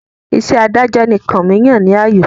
Iṣẹ́ adájọ́ ni Kànmí yàn láàyò